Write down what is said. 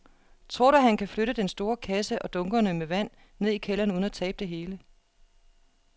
Tror du, at han kan flytte den store kasse og dunkene med vand ned i kælderen uden at tabe det hele?